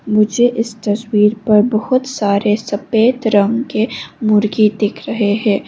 मुझे इस तस्वीर पर बहुत सारे सफेद रंग के मुर्गी दिख रहे है।